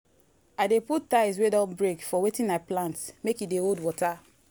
i dey put tiles wey don break for wetin i plant make e dey hold water.